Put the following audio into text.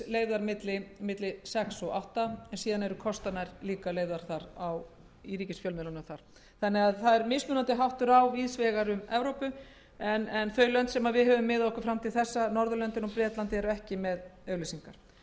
leyfðar milli sex og átta en síðan eru kostanir líka leyfðar í ríkisfjölmiðlunum þar það er því mismunandi háttur hafður á víðs vegar um evrópu en þau lönd sem við höfum miðað okkur við fram til þessa norðurlöndin og bretland eru ekki með auglýsingar á íslandi hefur hins